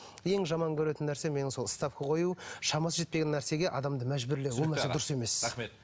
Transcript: ең жаман көретін нәрсе менің сол ставка қою шамасы жетпеген нәрсеге адамды мәжбүрлеу дұрыс емес рахмет